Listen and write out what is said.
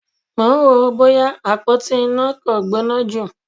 Mò ń wò ó bóyá àpótí iná kò gbóná jù.